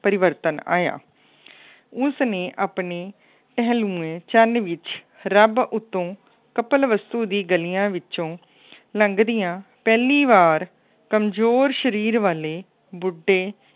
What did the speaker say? ਪਰਿਵਰਤਨ ਆਇਆ। ਉਸਨੇ ਆਪਣੇ ਪਹਿਲਨੁਮਾ ਚੰਨ ਵਿੱਚ ਰੱਬ ਉੱਤੋਂ ਕਪਿਲਵਸਤੂ ਦੀ ਗਲੀਆਂ ਵਿੱਚੋਂ ਲੰਘਦੀਆਂ ਪਹਿਲੀ ਵਾਰ ਕਮਜ਼ੋਰ ਸਰੀਰ ਵਾਲੇ ਬੁੱਢੇ